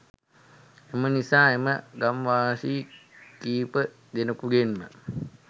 එම නිසා එම ගම් වාසී කීප දෙනෙකුගෙන්ම